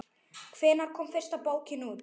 Hvenær kom fyrsta bókin út?